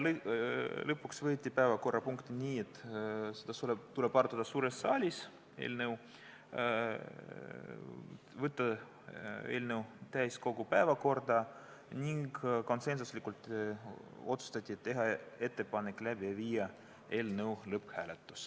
Lõpuks võeti vastu otsus, et seda eelnõu tuleb arutada suures saalis, saata eelnõu täiskogu päevakorda, ning konsensuslikult otsustati, et tuleks läbi viia eelnõu lõpphääletus.